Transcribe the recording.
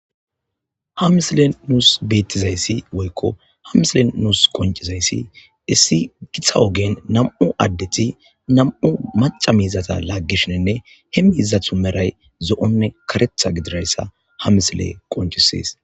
Ha misilen nuus beettizayssi woykko hamisilen nuus qoncizayssi issi githa ogen nam'u addethi nam'u maca miizata laaggishinenne hemmiiza thu meray zo'onne karetha gidirayssa ha misile qoncisees.